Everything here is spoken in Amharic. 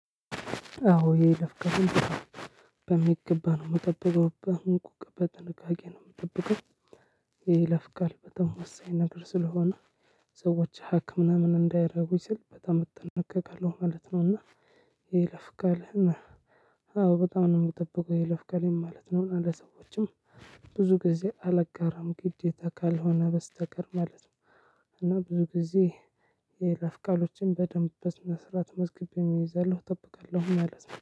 አዎ የይለፍቀውን በሚገባ ነው የምጠብቀው። በሁንቁቅ በጥንቃቄ ነው የምጠብቀው። የይለፍቃል በጣም ወሳኝ ነገር ስለሆነ ሰዎች ሀክ ምናምን እንዳይረጉኝ ስል በጣም እጠነቀቃለሁ ማለት ነው እና ይለፍቃል አዎ በጣም ነው የምጠብቀው። ይለፍቃል ማለት ነው ለሰዎችም ብዙ ጊዜ አላጋራም ግዴታ ካልሆነ በስተቀር ማለት ነው። እና ብዙ ጊዜ የይለፍቃሎችን በደንብ በስነስራት መዝገበ እይዛለሁ እጠብቃለሁ ማለት ነው።